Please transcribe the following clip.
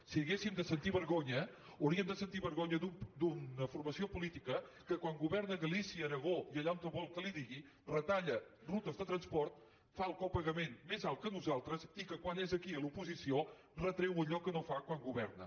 si haguéssim de sentir vergonya hauríem de sentir vergonya d’una formació política que quan governa a galícia l’aragó i allà on vol que li digui retalla rutes de transport fa el copagament més alt que nosaltres i que quan és aquí a l’oposició retreu allò que no fa quan governa